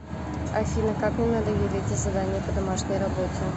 афина как мне надоели эти задания по домашней работе